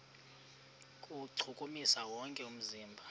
kuwuchukumisa wonke umzimba